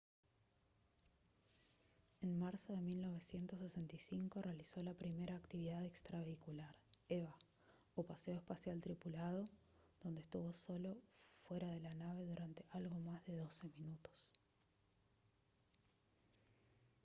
en marzo de 1965 realizó la primera actividad extravehicular eva o paseo espacial tripulado donde estuvo solo fuera de la nave durante algo más de doce minutos